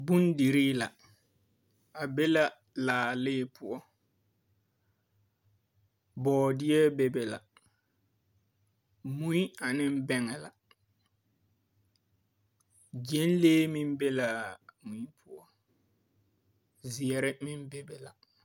Bondirii la, a be la laalee poɔ, bɔɔdeɛ be be la, mui ane bɛŋɛ la, gyɛnlee meŋ be laa mui poɔ, zeɛre meŋ be be la. 13412.